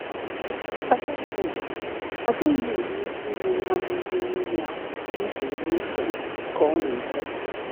“Agaghị m enwe “Agaghị m enwe ike ịnye nwa m nri mmiri ahụ n’usoro usoro,” ka ọ na-ekwu.